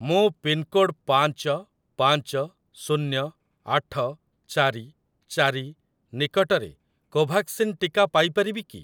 ମୁଁ ପିନ୍‌କୋଡ଼୍‌ ପାଞ୍ଚ ପାଞ୍ଚ ଶୁନ୍ୟ ଆଠ ଚାରି ଚାରି ନିକଟରେ କୋଭାକ୍ସିନ୍ ଟିକା ପାଇ ପାରିବି କି?